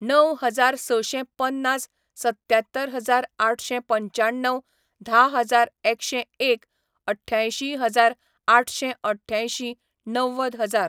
णव हजार सशे पन्नास सत्यात्तर हजार आठशें पंच्याण्णव धा हजार एकशें एक अठ्यांयशी हजार आठशें अठ्यांयशी णव्वद हजार